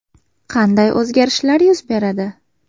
Qanday o‘zgarishlar yuz beradi?